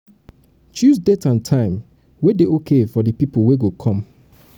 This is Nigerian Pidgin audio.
choose date and time wey dey okay for di pipo wey go come